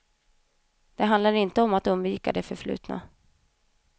Det handlar inte om att undvika det förflutna.